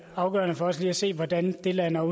afgørende for os lige se hvordan det lander